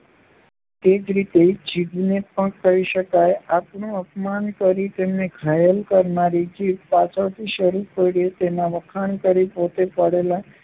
તે જ રીતે જીભને પણ કહી શકાય. કોઈનું અપમાન કરી તેને ઘાયલ કરનારી જીભ પાછળથી જરૂર પડ્યે તેનાં વખાણ કરી પોતે પાડેલા